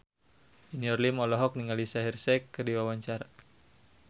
Junior Liem olohok ningali Shaheer Sheikh keur diwawancara